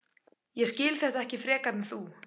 Ég skil þetta ekki frekar en þú.